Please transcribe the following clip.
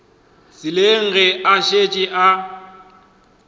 tseleng ge a šetše a